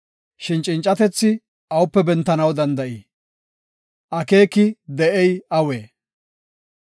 “Shin cincatethi awupe bentanaw danda7ii? Akeeki de7iya awee?